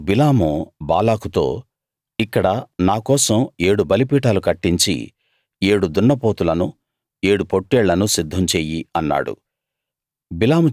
అప్పుడు బిలాము బాలాకుతో ఇక్కడ నా కోసం ఏడు బలిపీఠాలు కట్టించి ఏడు దున్నపోతులను ఏడు పొట్టేళ్లను సిద్ధం చెయ్యి అన్నాడు